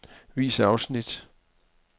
Vis afsnit.